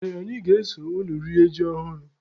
Ee, anyị ga-eso unu rie ji ọhụrụ.